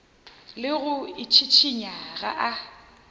le go itšhišinya ga a